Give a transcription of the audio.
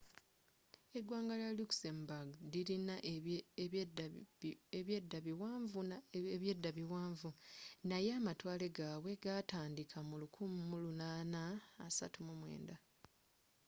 eggwanga lya luxembourg lilina ebyedda biwanvu naye amatwale gaabwe g'ataandiika mu 1839